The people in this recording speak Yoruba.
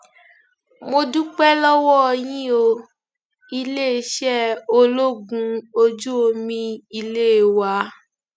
mo dúpẹ lọwọ yín o iléeṣẹ ológun ojú omi ilé wa